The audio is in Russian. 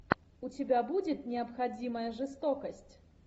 у тебя будет необходимая жестокость